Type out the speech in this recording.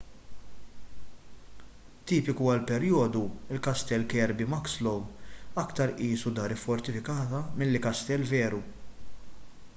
tipiku għall-perjodu il-kastell kirby muxloe aktar qisu dar iffortifikata milli kastell veru